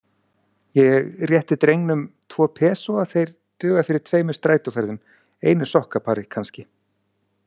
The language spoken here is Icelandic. Ég rétti drengnum tvo pesóa, þeir duga fyrir tveimur strætóferðum, einu sokkapari, kannski.